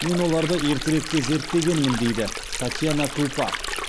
мен оларды ертеректе зерттегенмін дейді татьяна крупа